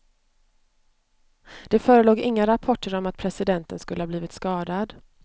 Det förelåg inga rapporter om att presidenten skulle ha blivit skadad.